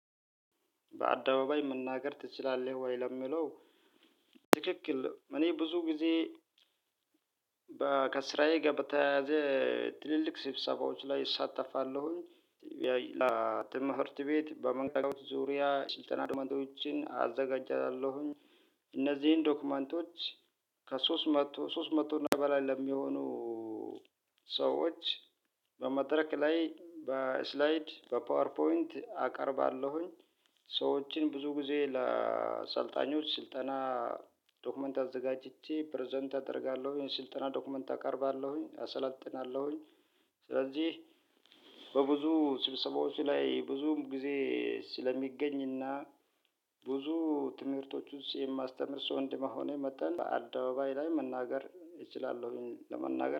በአደባባይ መናገር ትችላለህ ወይ ለሚለው? ትክክል እኔ ብዙ ጊዜ ከስራዬ ጋር በተያያዘ። ትልልቅ ስብሰባዎች ላይ እሳተፋለሁኝ የትምህርት ቤት በመንገድ ዙሪያ ስልጠና ዶክመንቶችን አዘጋጃችኋለሁኝ። እነዚህን ዶክመንቶች ከሶስት መቶ ሶስት መቶ እና በላይ ለሚሆኑ ሰዎች በመድረክ ላይ በስላይድ በፓወር ፖይንት አቀርባለሁኝ። ሰዎችን ብዙ ጊዜ ለአሰልጣኞች ስልጠና ዶክመንት አዘጋጅቼ ፕረዘንት አደርጋለሁ ይሄን ስልጠና ዶክመንት አቀርባለሁኝ አሰላጥናለሁኝ። ስለዚህ በብዙ ስብሰባዎች ላይ ብዙ ጊዜ ስለምገኝና ብዙ ትምህርቶች ውስጥ የማስተምር ሰው እንደመሆኔ መጠን አደባባይ ላይ መናገር እችላለሁኝ። ለመናገር